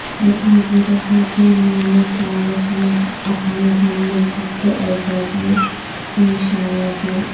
وزیر خارجہ Mevlut Cavus نے اپنے ہم منصب کے اعزاز میں اعشائیہ دیا